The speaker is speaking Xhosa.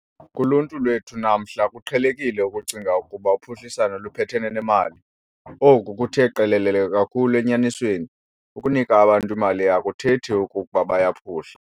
Kuluntu lwethu namhla, kuqhelekile ukucinga ukuba uphuhliso luphathelene nemali. Oku kuthe qelele kakhulu enyanisweni - ukunika abantu imali akuthethi ukuba bayaphuhla.